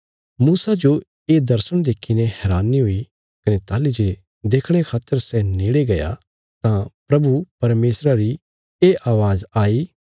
मूसा जो ये दर्शण देखीने हैरानी हुई कने ताहली जे देखणे खातर सै नेड़े गया तां प्रभु परमेशरा री ये अवाज़ आई